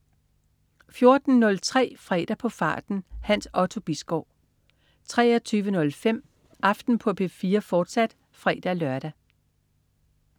14.03 Fredag på farten. Hans Otto Bisgaard 23.05 Aften på P4, fortsat (fre-lør)